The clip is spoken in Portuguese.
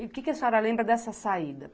E o que que a senhora lembra dessa saída?